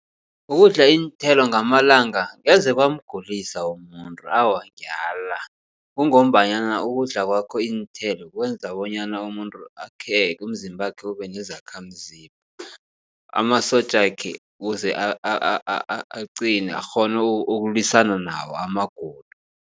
Ukudla iinthelo ngamalanga angeze kwamgulisa umuntu awa ngiyala. Kungombanyana ukudla kwakho iinthelo kwenza bonyana umuntu akheke umzimbakhe ube nezakhamzimba. Amasotjakhe ukuze aqine akghone ukulwisana nawo amagulo.